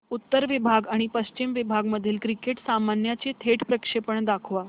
उत्तर विभाग आणि पश्चिम विभाग मधील क्रिकेट सामन्याचे थेट प्रक्षेपण दाखवा